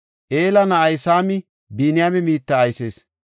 Ela na7ay Saami Biniyaame biitta aysees.